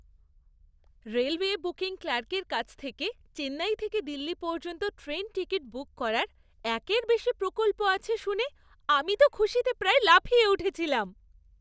Railway booking ক্লার্কের কাছ থেকে চেন্নাই থেকে দিল্লি পর্যন্ত ট্রেন টিকিট বুক করার একের বেশী বিকল্প আছে শুনে আমি তো খুশিতে প্রায় লাফিয়ে উঠেছিলাম।